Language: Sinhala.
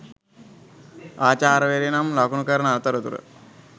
ආචාර්යවරිය නම් ලකුණු කරන අතරතුර